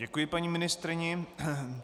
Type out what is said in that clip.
Děkuji paní ministryni.